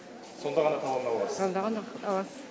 сонда ғана талон аласыз сонда ғана аласыз